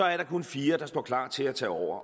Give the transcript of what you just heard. er der kunne fire der står klar til at tage over